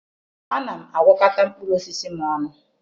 Ana m agwakọta mkpụrụ osisi m ọnụ.